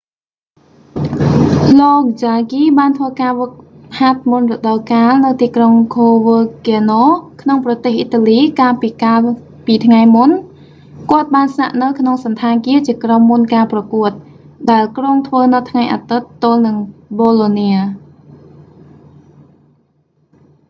លោក ចាហ្គី jarque បានធ្វើការហ្វឹកហាត់មុនរដូវកាលនៅ ទីក្រុង ខូវើគាណូ coverciano ក្នុងប្រទេសអ៊ីតាលីកាលពីកាលពីថ្ងៃមុន គាត់បានស្នាក់នៅក្នុងសណ្ឋាគារជាក្រុមមុនការប្រកួត ដែលគ្រោងធ្វើនៅថ្ងៃអាទិត្យទល់នឹងប៊ូឡូនា bolonia